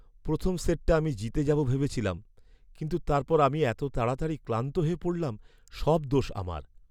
প্রথম সেটটা আমি জিতে যাবো ভেবেছিলাম, কিন্তু তারপর আমি এত তাড়াতাড়ি ক্লান্ত হয়ে পড়লাম! সব দোষ আমার।